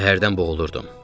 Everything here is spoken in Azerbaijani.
Qəhərdən boğulurdum.